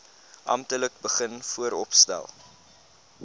amptelik begin vooropstel